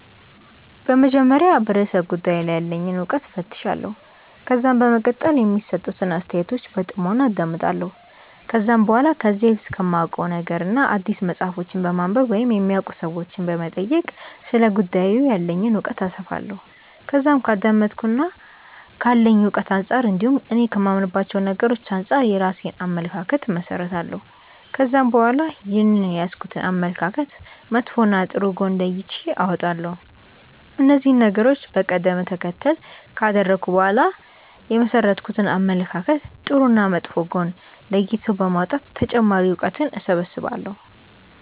በመጀመሪያ በርእሰ ጉዳዩ ላይ ያለኝን እውቀት እፈትሻለሁ። ከዛም በመቀጠል የሚሰጡትን አስተያየቶች በጥሞና አዳምጣለሁ። ከዛም በኋላ ከዚህ በፊት ከማውቀው ነገርና አዲስ መጽሐፎችን በማንበብ ወይም የሚያውቁ ሰዎችንም በመጠየቅ ስለ ጉዳዩ ያለኝን እውቀት አሰፋለሁ። ከዛም ከአዳመጥኩትና ካለኝ እውቀት አንጻር እንዲሁም እኔ ከማምንባቸው ነገሮች አንጻር የራሴን አመለካከት እመሠረታለሁ። ከዛም በኋላ ይህንን የያዝኩትን አመለካከት መጥፎና ጥሩ ጎን ለይቼ አወጣለሁ። እነዚህን ነገሮች በቀደም ተከተል ካደረኩ በኋላ የመሠረትኩትን አመለካከት ጥሩና መጥፎ ጎን ለይቶ በማውጣት ተጨማሪ እውቀትን እሰበስባለሁ።